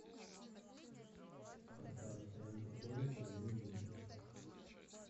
поставь стоянка поезда две минуты